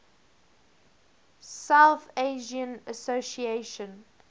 south asian association